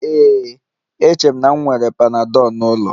Ee, eche m na m nwere panadol n'ụlọ